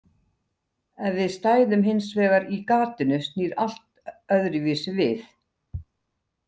Ef við stæðum hins vegar í gatinu snýr allt öðruvísi við.